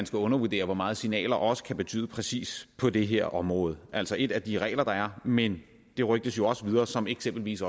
skal undervurdere hvor meget signaler også kan betyde præcis på det her område altså ét er de regler der er men det rygtes jo også videre som eksempelvis